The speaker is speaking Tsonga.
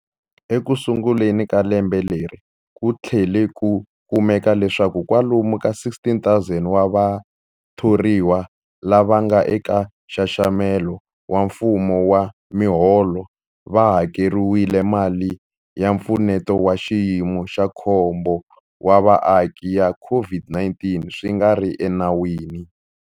Ekusunguleni ka lembe leri, ku tlhele ku kumeka leswaku kwalomu ka 16,000 wa vathoriwa lava nga eka nxaxamelo wa mfumo wa miholo va hakeriwile mali ya Mpfuneto wa Xiyimo xa Khombo wa Vaaki ya COVID-19 swi nga ri enawini.